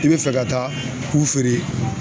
I be fɛ ka taa u feere